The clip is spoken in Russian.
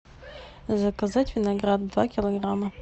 заказать виноград два килограмма